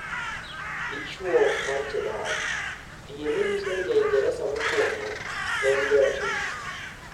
Dichwo mar Cheddar: DNA nyiso ni Ja-Ingresa mokuongo ne en jarateng